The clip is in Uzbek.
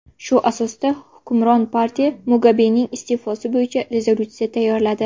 Shu asosda hukmron partiya Mugabening iste’fosi bo‘yicha rezolyutsiya tayyorladi .